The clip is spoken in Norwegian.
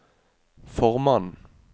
formannen